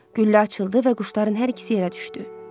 Güllə açıldı və quşların hər ikisi yerə düşdü.